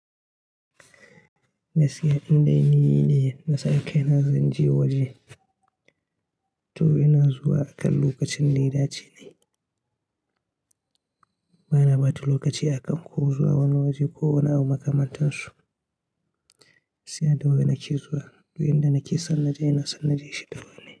Gaskiya inde ni ne, na sa kaina zan je waje to ina zuwa akan lokacin da yadace ne. Bana ɓata lokaci akan ko zuwa wani waje ko wani abu makamantansu, gaskiya da wuri nake zuwa. Du inda nake son naje ina son naje shi da wurine.